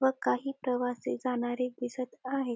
व काही प्रवासी जाणारे दिसत आहे.